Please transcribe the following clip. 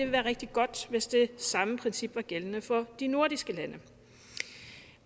være rigtig godt hvis det samme princip var gældende for de nordiske lande